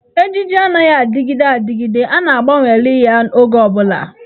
Ejiji anaghị adịgide adịgide, a ga-agbanweli ya oge ọ bụla.